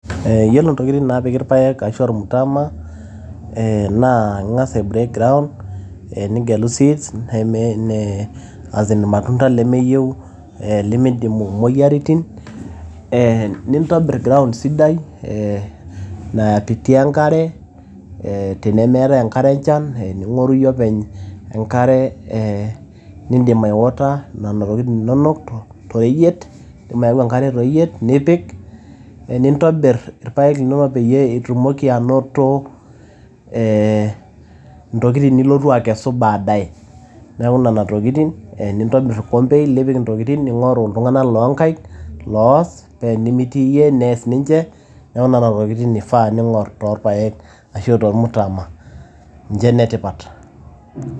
Yiolo ntokitin naapiki ilpaek ashu olmutama, eeh naa ing`as ai break ground nigelu seeds neme eeh as in ilmatunda lemeyieu lemeiidim imoyiaritin. Nintobir ground sidai eeh nai pitia enkare eeh tenemeetai enkare enchan ning`oru iyie openy enkare nidim ai water nena tokitin inonok to reyiet idim ayau enkare to reyiet nipik nintobir irpaek linonok peyie itumoki anoto ntokitin eeh nilotu akesu baadae. Niaku nena tokitin nintobirr olkompe lipik nena tokitin ning`oru iltung`anak loo nkaik loas paa tenimitii iyie neas ninche. Niaku nena tokitin ifaa ning`orr too ilpaek ashu tolmutama ninche ine tipat.